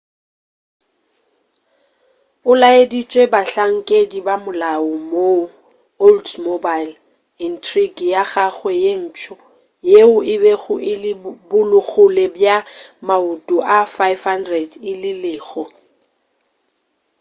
o laeditše bahlankedi bamolao moo oldsmobile intrigue ya gagwe ye ntsho yeo e bego e le bogole bja maoto a 500 e lego